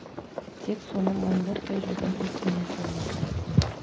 тек соны мойындатпай жүрген ит мінез болмаса қайтсін